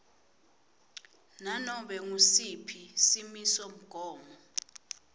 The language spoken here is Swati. nanobe ngusiphi simisomgomo